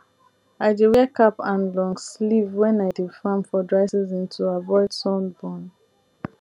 i dey wear cap and long sleeve when i dey farm for dry season to avoid sun burn